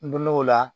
N donnen o la